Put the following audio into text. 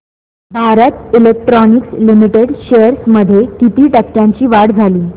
Bharat Electronics Limited shares मध्ये किती टक्क्यांची वाढ झाली